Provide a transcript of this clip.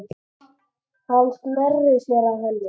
Hann sneri sér að henni.